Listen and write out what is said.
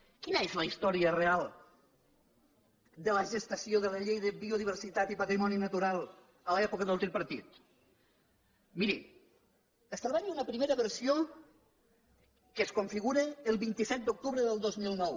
quina és la història real de la gestació de la llei de biodiversitat i patrimoni natural a l’època del tripartit miri establim una primera versió que es configura el vint set d’octubre del dos mil nou